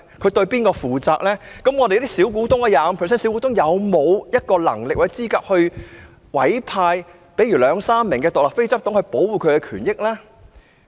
佔 25% 股權的小股東有沒有能力或資格委派兩三名獨立非執行董事來保障他們的權益呢？